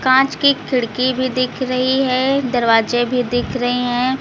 कांच की खिड़की भी दिख रही है दरवाजे भी दिख रहे हैं।